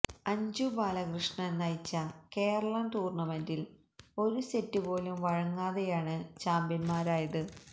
അഞ്ജു ബാലകൃഷ്ണന് നയിച്ച കേരളം ടൂര്ണമെന്റില് ഒരു സെറ്റുപോലും വഴങ്ങാതെയാണ് ചാംപ്യന്മാരായത്